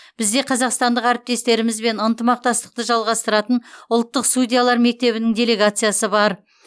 бізде қазақстандық әріптестерімізбен ынтымақтастықты жалғастыратын ұлттық судьялар мектебінің делегациясы бар